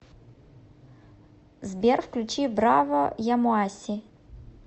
сбер включи браво ямоаси